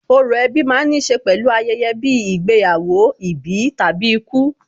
Orò ẹbí ma ń níṣe pẹ̀lú ayẹyẹ bíi ìgbéyàwó, ìbí tàbí ikú.